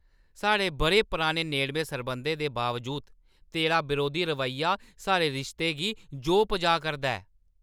साढ़े बʼरें पराने नेड़में सरबंधें दे बावजूद तेरा बरोधी रवेइया साढ़े रिश्ते गी जोह् पजाऽ करदा ऐ।